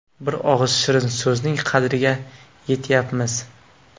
Bir og‘iz shirin so‘zning qadriga yetyapmiz.